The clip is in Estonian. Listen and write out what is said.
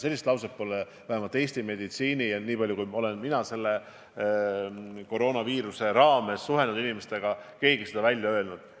Sellist lauset pole vähemalt Eesti meditsiinis – niipalju, kui mina selle koroonaviiruse raames inimestega suhelnud olen – keegi välja öelnud.